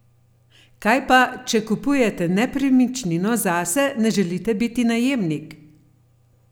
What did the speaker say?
Kaj pa, če kupujete nepremičnino zase, ne želite biti najemnik?